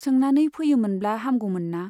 सोंनानै फैयोमोनब्ला हामगौ मोनना ?